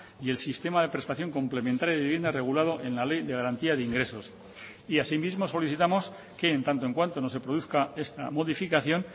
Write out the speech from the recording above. y el sistema de prestación complementaria de vivienda regulado en la ley de garantía de ingresos y asimismo solicitamos que en tanto en cuanto no se produzca esta modificación